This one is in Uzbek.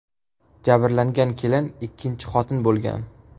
Jabrlangan kelin ikkinchi xotin bo‘lgan.